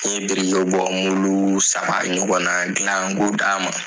N ye birikibɔ saba ɲɔgɔn na gilan ko d'a ma.